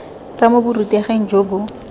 tswa mo boruteging jo bo